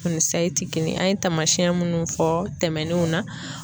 O ni sayi te kelen an ye taamasɛn munnu fɔ tɛmɛnenw na